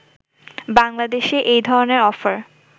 বাংলাদেশে এই ধরনের অফার